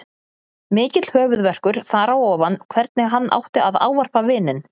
Mikill höfuðverkur þar á ofan hvernig hann átti að ávarpa vininn.